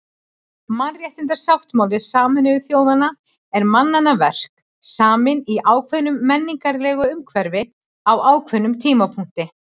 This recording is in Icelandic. Mannréttindasáttmáli Sameinuðu þjóðanna er mannanna verk, saminn í ákveðnu menningarlegu umhverfi á ákveðnum tímapunkti.